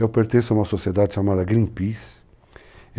Eu pertenço a uma sociedade chamada Greenpeace.